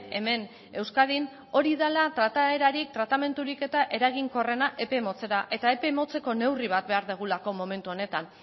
hemen euskadin hori dela trataerarik tratamendurik eta eraginkorrena epe motzera eta epe motzeko neurri bat behar dugulako momentu honetan